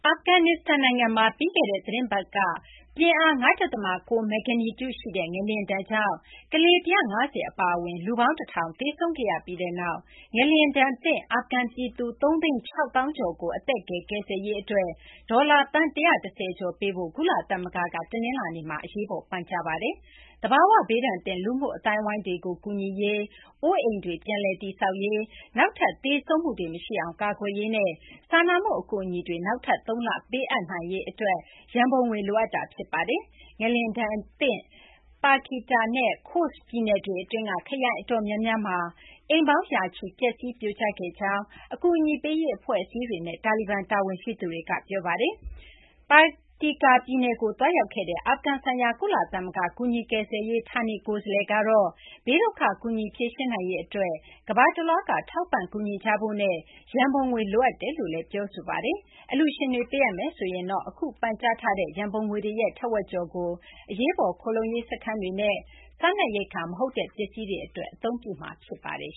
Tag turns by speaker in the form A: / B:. A: အာဖဂန်နစ္စတန် နိုင်ငံမှာ ပြီးခဲ့တဲ့ သီတင်းပတ်က ပြင်းအား ၅ ဒသမ ၉ မဂ္ဂနီကျူရှိတဲ့ ငလျင်ဒဏ်ကြောင့် ကလေး ၁၅၀ အပါအဝင် လူပေါင်း ၁၀၀၀ သေဆုံးခဲ့ရပြီးနောက် ငလျင်ဒဏ်သင့် အာဖဂန် ပြည်သူ ၃၆၀,၀၀၀ ကျော်ကို အသက်ကယ် ကယ်ဆယ်ရေး အတွက် ဒေါ်လာ သန်း ၁၁၀ ကျော် ပေးဖို့ ကုလသမဂ္ဂက တနလာၤနေ့မှာ အရေးပေါ် ပန်ကြားလိုက်ပါတယ်။ သဘာ၀ ဘေးဒဏ်သင့် လူမှုအသိုင်းအဝိုင်းတွေကို ကူညီရေး၊ အိုးအိမ်တွေ ပြန်လည် တည်ဆောက်ရေး၊ နောက်ထပ် သေဆုံးမှုတွေ မရှိအောင် ကာကွယ်ရေးနဲ့ စာနာမှု အကူအညီတွေ နောက်ထပ် သုံးလ ပေးအပ်နိုင်ရေး အတွက် ရန်ပုံငွေ လိုအပ်နေတာ ဖြစ်ပါတယ်။ ငလျင်ဒဏ်ကြောင့် Paktika နဲ့ Khost ပြည်နယ်တွေ အတွင်းက ခရိုင် အတော်များများမှာ ရာနဲ့ချီတဲ့ အိမ်တွေ ပျက်စီး၊ ပြိုကျ ခဲ့ကြောင်း အကူအညီပေးရေး အဖွဲ့အစည်းတွေနဲ့ တာလီဘန် တာဝန်ရှိသူတွေက ပြောပါတယ်။ ငလျင်ဒဏ်သင့် Paktika ပြည်နယ်တွင်းကို သွားရောက်ခဲ့တဲ့ အာဖဂန်ဆိုင်ရာ ကုလသမဂ္ဂ ကူညီကယ်ဆယ်ရေး ဌာနေကိုယ်စားလှယ် Ramiz Alakbarov ကတော့ ဘေးဒုက္ခ ကူညီဖြေရှင်းနိုင်ရေး အတွက် ကမ ္ဘာတလွှားက ထောက်ပံ့ ကူညီကြဖို့နဲ့ ရန်ပုံငွေ လိုအပ်ကြောင်း ပြောကြားခဲ့ပါတယ်။ အလှူရှင်တွေက ပေးအပ်မယ်ဆိုရင်တော့ အခု ပန်ကြားထားတဲ့ ရန်ပုံငွေရဲ့ ထက်ဝက် ကျော်ကို အရေးပေါ် ခိုလှုံရေး စခန်းတွေနဲ့ စားနပ်ရိက္ခာ မဟုတ်တဲ့ ပစ္စည်းတွေ အတွက် အသုံးပြုမှာ ဖြစ်ပါတယ်